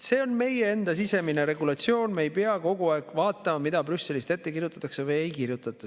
See on meie enda sisemine regulatsioon, me ei pea kogu aeg vaatama, mida Brüsselist ette kirjutatakse või ei kirjutata.